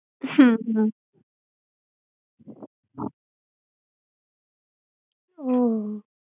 હુ હ ઓહ